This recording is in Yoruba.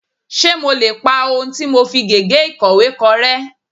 Ṣé mo lè pa ohun tí mo fi gègé ìkọ̀wé kọ rẹ́.?